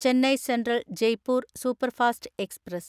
Chennai Central Jaipur superfast express